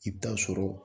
I bɛ taa sɔrɔ